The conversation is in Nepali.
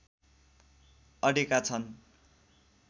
अडेका छन्